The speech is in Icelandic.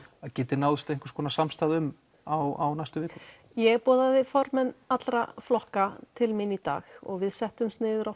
geti náðst einhvers konar samstaða um á næstu vikum ég boðaði formenn allra flokka til mín í dag og við settumst niður á